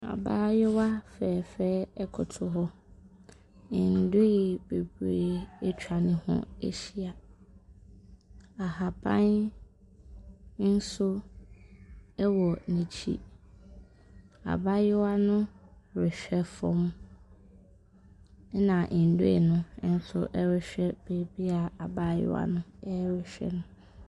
Abaayewa fɛɛfɛ ɛkoto hɔ ndoeɛ bebree atwa neho ahyia, ahaban nso ɛwɔ na akyi. Abaayewa no rehwɛ fɔm ɛna ndoeɛ no nso ɛrehwɛ baabia abaayewa ɛrehwɛ no.